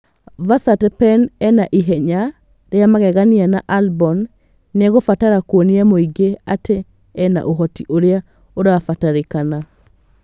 Verstappen ena ihenya rĩa magegania na Albon nĩegũbatara kwonia mũingĩ atĩ ena ũhoti ũrĩa ũrabatarĩkana